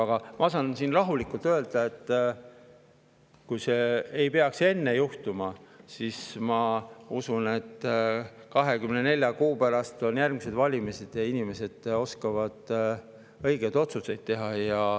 Aga ma saan siin rahulikult öelda, et kui see ei peaks enne juhtuma, siis ma usun, et 24 kuu pärast, kui on järgmised valimised, inimesed oskavad õigeid otsuseid teha.